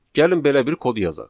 Gəlin belə bir kod yazaq.